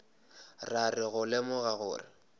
ra re go lemoga gore